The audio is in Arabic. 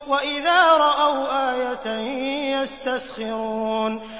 وَإِذَا رَأَوْا آيَةً يَسْتَسْخِرُونَ